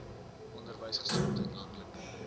onderwys gesondheid landelike